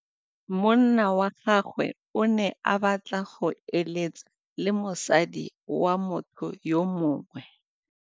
Monna wa gagwe o ne a batla go êlêtsa le mosadi wa motho yo mongwe.